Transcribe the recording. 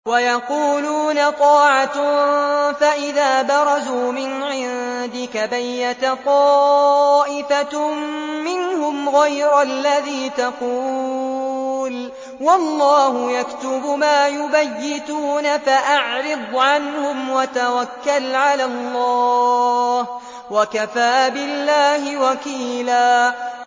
وَيَقُولُونَ طَاعَةٌ فَإِذَا بَرَزُوا مِنْ عِندِكَ بَيَّتَ طَائِفَةٌ مِّنْهُمْ غَيْرَ الَّذِي تَقُولُ ۖ وَاللَّهُ يَكْتُبُ مَا يُبَيِّتُونَ ۖ فَأَعْرِضْ عَنْهُمْ وَتَوَكَّلْ عَلَى اللَّهِ ۚ وَكَفَىٰ بِاللَّهِ وَكِيلًا